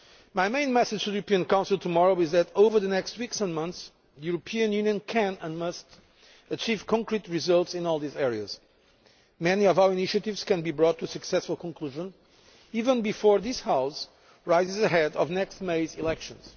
My main message to the European Council tomorrow is that, over the next weeks and months, the European Union can and must achieve concrete results in all these areas. Many of our initiatives can be brought to a successful conclusion even before this House rises ahead of next May's elections.